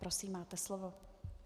Prosím, máte slovo.